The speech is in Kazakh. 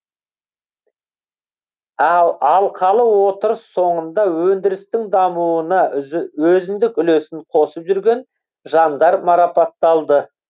ал алқалы отырыс соңында өндірістің дамуына өзіндік үлесін қосып жүрген жандар марапатталды